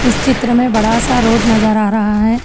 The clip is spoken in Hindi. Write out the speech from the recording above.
चित्र में बड़ा सा रोड नजर आ रहा है।